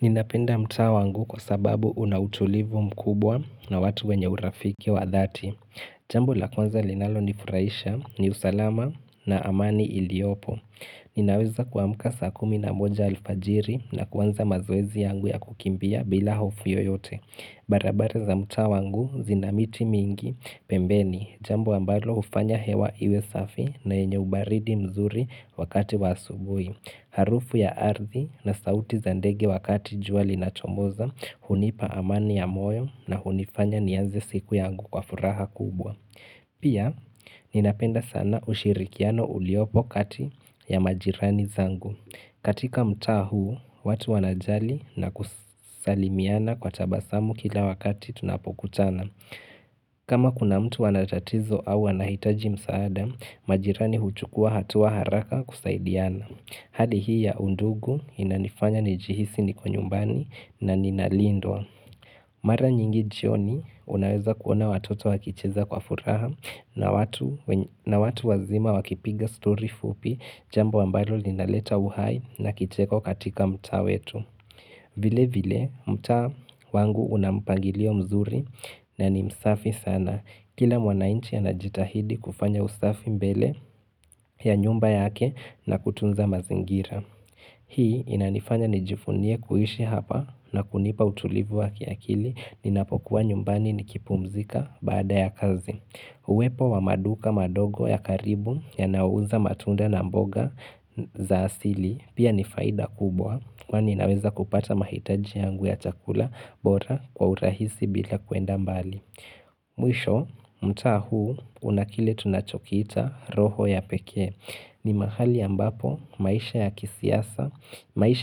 Ninapenda mtaa wangu kwa sababu una utulivu mkubwa na watu wenye urafiki wa dhati. Jamb la kwanza linalonifurahisha ni usalama na amani iliopo. Ninaweza kuamka saa kumi na moja alfajiri na kuanza mazoezi yangu ya kukimbia bila hofu yoyote. Barabara za mtaa wangu zinamiti mingi pembeni. Jambo ambalo hufanya hewa iwe safi na enye ubaridi mzuri wakati wa asubui. Harufu ya ardhi na sauti za ndege wakati jua linachomoza, hunipa amani ya moyo na hunifanya nianze siku yangu kwa furaha kubwa. Pia, ninapenda sana ushirikiano uliopo kati ya majirani zangu. Katika mtaa huu, watu wanajali na kusalimiana kwa tabasamu kila wakati tunapokutana. Kama kuna mtu ana tatizo au wanahitaji msaada, majirani huchukuwa hatua haraka kusaidiana. Hali hii ya undugu inanifanya nijihisi niko nyumbani na ninalindwa. Mara nyingi jioni unaweza kuona watoto wakicheza kwa furaha na watu wazima wakipiga story fupi jambo ambalo linaleta uhai na kicheko katika mtaa wetu. Vile vile mtaa wangu una mpangilio mzuri na ni msafi sana. Kila mwanainchi anajitahidi kufanya usafi mbele ya nyumba yake na kutunza mazingira. Hii inanifanya nijivunie kuishi hapa na kunipa utulivu wa kiakili ninapokuwa nyumbani nikipumzika baada ya kazi. Uwepo wa maduka madogo ya karibu yanayouza matunda na mboga za asili pia nifaida kubwa kwani naweza kupata mahitaji yangu ya chakula bora kwa urahisi bila kuenda mbali. Mwisho, mtaa huu una kile tunachokita roho ya pekee. Ni mahali ambapo maisha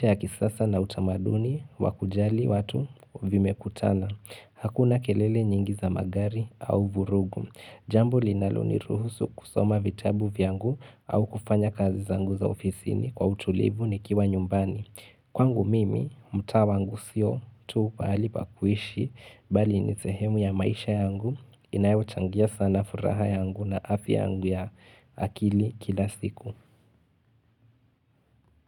ya kisasa na utamaduni wa kujali watu vimekutana. Hakuna kelele nyingi za magari au vurugu. Jambu linaloniruhusu kusoma vitabu vyangu au kufanya kazi zangu za ofisi ni kwa utulivu nikiwa nyumbani. Kwangu mimi, mtaa wangu sio tu pahali pa kuishi bali ni sehemu ya maisha yangu inayochangia sana furaha yangu na afya yangu ya akili kila siku.